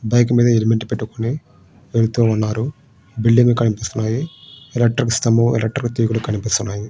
Bike మీద helmet పెట్టుకొని వెళ్తూ ఉన్నారు. బిల్డింగు లు కనిపిస్తున్నాయి. ఎలక్ట్రిక్ స్తంభం ఎలక్ట్రిక్ తీగలు కనిపిస్తున్నాయి.